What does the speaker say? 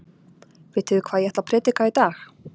Vitið þið hvað ég ætla að prédika í dag?